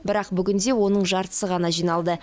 бірақ бүгінде оның жартысы ғана жиналды